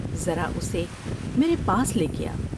ذرا اسے میرے پاس لے کے آ ۔